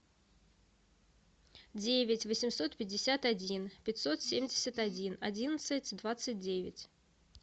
девять восемьсот пятьдесят один пятьсот семьдесят один одиннадцать двадцать девять